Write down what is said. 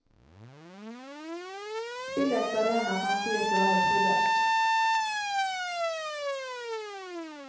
Spillets arena kan sies å være todelt.